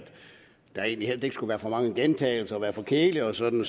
der egentlig skal være for mange gentagelser at være for kedeligt og sådan